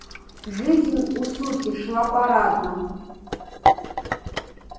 жизнь у суки шла парадно